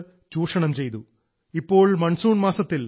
അതായത് സൂര്യൻ എട്ടു മാസക്കാലം ഭൂമിയിലെ ജലസമ്പത്ത് ചൂഷണം ചെയ്തു